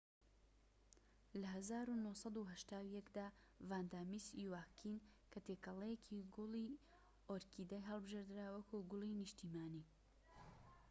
لە ١٩٨١ دا ڤاندا میس یواکین کە تێکەڵەیەکی گوڵی ئۆرکیدە هەڵبژێردرا وەکو گوڵی نیشتیمانی